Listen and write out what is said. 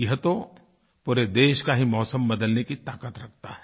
यह तो पूरे देश का ही मौसम बदलने की ताक़त रखता है